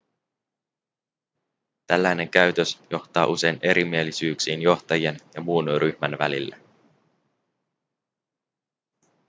tällainen käytös johtaa usein erimielisyyksiin johtajien ja muun ryhmän välille